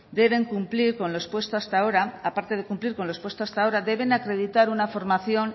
deben cumplir con lo expuesto hasta ahora aparte de cumplir con los expuesto hasta ahora deben acreditar una formación